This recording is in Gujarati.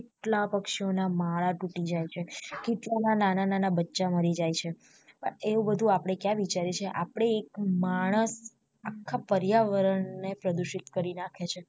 કેટલા પક્ષી ઓ ના માળા તૂટી જાય છે કેટલાક ના નાના નાના બચ્ચા મરી જાય છે એવુ બધું આપડે ક્યાં વિચાર્યું છે આપડે એક માણસ આખા પર્યાવરણ ને પ્રદુષિત કરી નાખ્યું છે